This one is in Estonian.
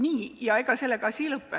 Nii, ja ega sellega asi ei lõppe.